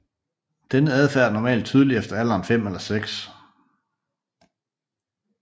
Denne adfærd er normalt tydelig efter alderen 5 eller 6